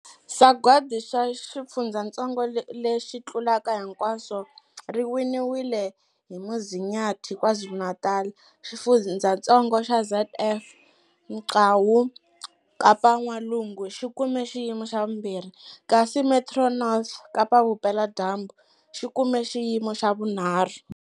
Sagwadi ra Xifundzatsongo lexi Tlulaka Hinkwaswo ri winiwile hi Umzinyathi, KwaZulu-Natal. Xifundzatsongo xa ZF Mgcawu, Kapa-N'walungu, xi kume xiyimo xa vumbirhi, kasi Metro North, Kapa-Vupela dyambu, xi kume xiyimo xa vunharhu.